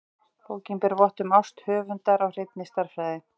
Bókin ber vott um ást höfundar á hreinni stærðfræði.